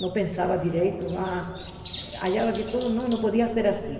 Não pensava direito, a achava que tudo não podia ser assim.